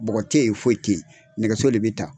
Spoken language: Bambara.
Bɔgɔ te ye foyi te ye, nɛgɛso le be ta.